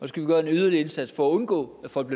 skal vi gøre en yderligere indsats for at undgå at folk